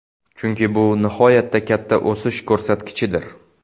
Chunki bu nihoyatda katta o‘sish ko‘rsatkichidir.